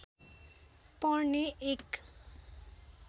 पर्ने एक